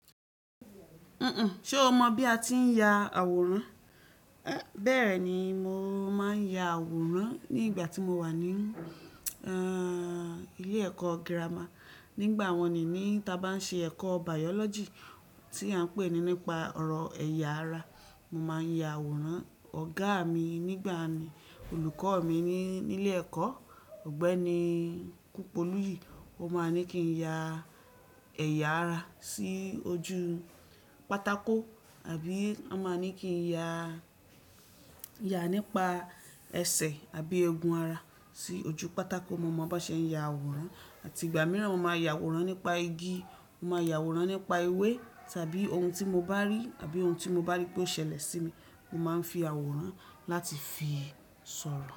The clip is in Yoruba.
Ṣé o mọ bí a ti ń ya àwòrán? Bẹ́ẹ̀ni, mo máa ń ya àwòrán ní ìgbà tí mo wà ní, ẹ́ẹ́, ilé ẹ̀kọ́ gírámà. Nígbà wọ́n ni ní ta bá ń ṣe ẹ̀kọ́ biology tí a ń pè ní nípa ọ̀rọ̀ ẹ̀yà ara. Mo máa ń ya àwòrán. Ọ̀gá mi nígbà náà ni olùkọ́ mi ní ilé ẹ̀kọ́ Ọ̀gbẹ́ni Kúnpolúyì. Ó máa ń ní kí n ya ẹ̀yà ara sí ojú pátákó àbí ó máa ń ní kí n ya, ya nípa ẹsẹ̀ àbí egun ara sí ojú pátákó. Mo mọ bá ṣe ń ya àwòrán àti ìgbà mìíràn mo máa ya àwòrán nípa igi. Mo máa ya àwòrán nípa ewé tàbí ohun tí mo bá rí àbí ohun tí mo bá rí pé ó ṣẹlẹ̀ sí mi. Mo máa ń fi àwòrán láti fi sọ̀rọ̀